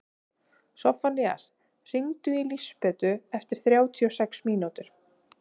Soffanías, hringdu í Lísabetu eftir þrjátíu og sex mínútur.